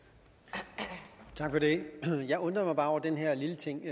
det jeg undrer mig bare over den her lille ting